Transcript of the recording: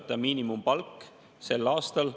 Mina küll ei näe siin 2000‑eurose palgaga õpetajaid.